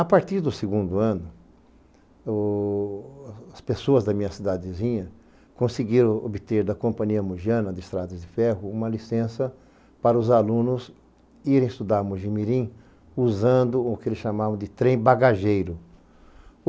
A partir do segundo ano, as pessoas da minha cidadezinha conseguiram obter da Companhia Mugiana de Estradas de Ferro uma licença para os alunos irem estudar a Mogi mirim usando o que eles chamavam de trem bagageiro.